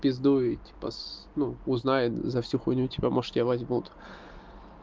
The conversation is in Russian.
пиздуй типа с ну узнай за всю хуйню типа может тебя возьмут